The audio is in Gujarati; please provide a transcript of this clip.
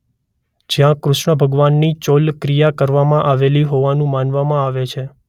જ્યાં કૃષ્ણ ભગવાનની ચૌલ ક્રિયા કરવામાં આવી હોવાનું માનવામાં આવે છે.